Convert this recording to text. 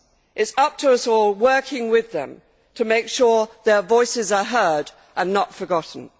It is up to us all, working with them, to make sure their voices are heard and not forgotten.